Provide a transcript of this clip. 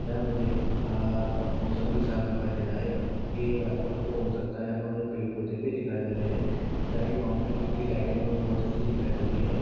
यहाँ मुझे आह मौसम भी साफ दिखाई दे रहा है ये एक रात का फोटो हो सकता है यहाँ पे मुझे पेड़ पौधे भी दिखाई दे रहे है जहा की फाउंटेन बूथ की लाइटिंग बहुत अच्छी दिखाई दे रही है।